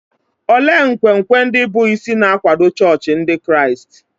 Olee nkwenkwe ndị bụ́ isi na-akwado chọọchị Ndị Kraịst?